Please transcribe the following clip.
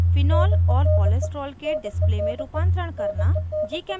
* phenol और cholesterol के display में रूपांतरण करना